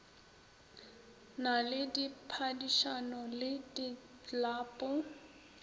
na le diphadišano le diklapo